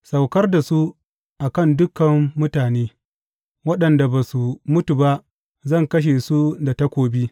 Saukar da su a kan dukan mutane; waɗanda ba su mutu ba zan kashe su da takobi.